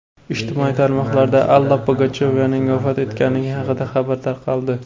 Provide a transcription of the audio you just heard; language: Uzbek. Ijtimoiy tarmoqlarda Alla Pugachyovaning vafot etganligi haqida xabar tarqaldi.